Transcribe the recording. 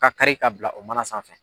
K'a kari ka bila o mana sanfɛ